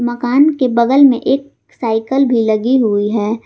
मकान के बगल में एक साइकल भी लगी हुई है।